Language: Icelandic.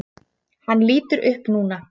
Hann lítur upp núna.